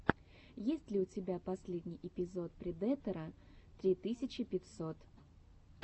есть ли у тебя последний эпизод предэтора три тысячи пятьсот